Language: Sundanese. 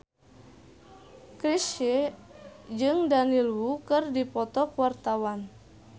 Chrisye jeung Daniel Wu keur dipoto ku wartawan